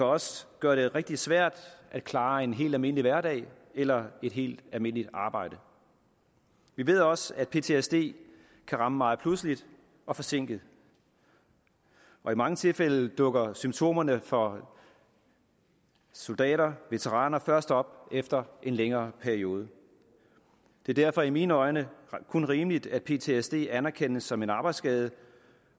også gøre det rigtig svært at klare en helt almindelig hverdag eller et helt almindeligt arbejde vi ved også at ptsd kan ramme meget pludseligt og forsinket og i mange tilfælde dukker symptomerne for soldater veteraner først op efter en længere periode det er derfor i mine øjne kun rimeligt at ptsd anerkendes som en arbejdsskade